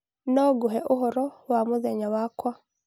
No ngũhe ũhoro wa mũthenya wakwa.